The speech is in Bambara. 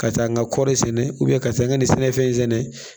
Ka taa n ka kɔri sɛnɛ ka taa nka nin sɛnɛfɛn in sɛnɛ